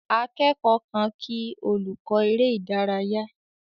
Akẹ́kọ̀ọ́ kan kí olùkọ́ eré ìdárayá.